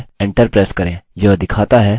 यह दिखाता है you must be logged in!